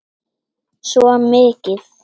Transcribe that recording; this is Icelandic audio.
Svo mikið.